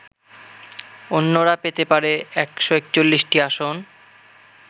অন্যরা পেতে পারে ১৪১টি আসন